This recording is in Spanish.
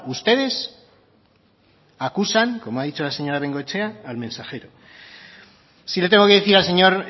ustedes acusan como ha dicho la señora bengoechea al mensajero sí le tengo que decir al señor